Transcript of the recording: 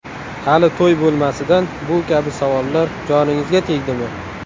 Hali to‘y bo‘lmasidan bu kabi savollar joningizga tegdimi?